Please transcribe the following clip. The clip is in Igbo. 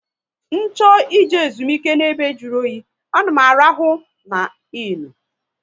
Ncho ị je ezumike n'ebe jụrụ oyi, a na m arahụ NA innu